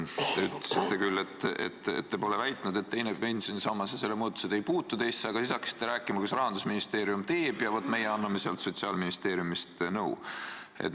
Te ütlesite küll, et te pole väitnud, nagu teine pensionisammas ja selle muudatused ei puutuks teisse, aga siis hakkasite rääkima, mis Rahandusministeerium teeb ja vaat, teie annate Sotsiaalministeeriumist nõu.